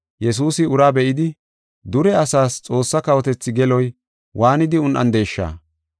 Yesuusi uraa be7idi, “Dure asas Xoossa kawotethi geloy waanidi un7andesha?